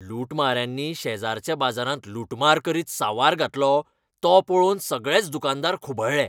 लुटमाऱ्यांनी शेजरच्या बाजारांत लूटमार करीत सांवार घातलो तो पळोवन सगळेच दुकानदार खुबळ्ळे.